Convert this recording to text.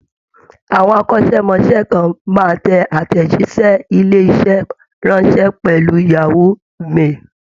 Àwọn akọ́ṣẹ́mọṣẹ́ kan máa tẹ àtẹ̀jíṣẹ́ ilé-iṣẹ́ ránṣẹ́ pẹ̀lú yahoo mail.